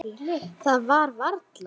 Værirðu nokkuð.